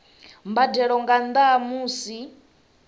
mbadelo nga nnda ha musi